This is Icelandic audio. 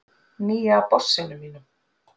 Nýja bossinum mínum.